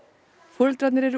foreldrarnir eru